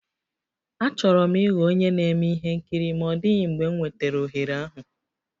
Achọrọ m ịghọ onye na-eme ihe nkiri ma ọ dịghị mgbe m nwetara ohere ahụ